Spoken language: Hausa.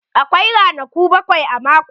Akwai ranaku bakwai a mako.